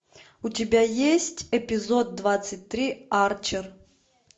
у тебя есть эпизод двадцать три арчер